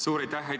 Suur aitäh!